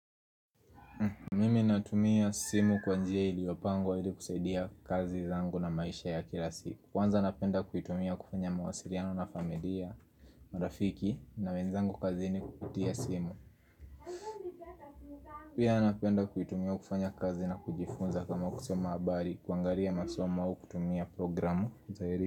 Mimi natumia simu kwa njia iliopangwa ili kusaidia kazi zangu na maisha ya kila siku Kwanza napenda kuitumia kufanya mawasiliano na familia, marafiki na wenzangu kazini kupitia simu Pia napenda kuitumia kufanya kazi na kujifunza kama kusoma habari kuangalia masoma au kutumia programu.